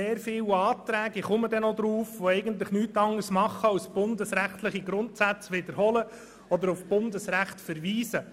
Sehr viele Anträge machen im Grunde nichts anderes, als bundesrechtliche Grundsätze zu wiederholen oder auf Bundesrecht zu verweisen.